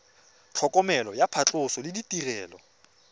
tlhokomelo ya phatlhoso le ditirelo